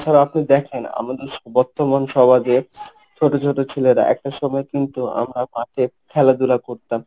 তাছাড়া আপনি দেখেন. আমাদের বর্তমান সমাজে ছোট ছোট ছেলেরা একটা সময় কিন্তু আমরা মাঠে খেলাধুলা করতাম।